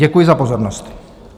Děkuji za pozornost.